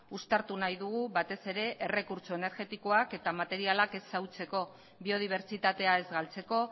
uztartu nahi dugu batez ere errekurtso energetikoak eta materialak ez xahutzeko biodibertsitatea ez galtzeko